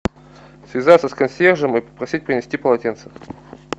связаться с консьержем и попросить принести полотенце